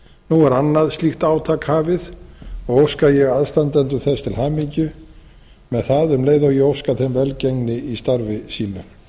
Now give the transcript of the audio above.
nú er annað slíkt átak hafið og óska ég aðstandendum þess til hamingju með það um leið og ég óska þeim velgengni í starfi sínu